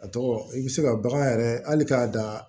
A tɔgɔ i bɛ se ka bagan yɛrɛ hali k'a dan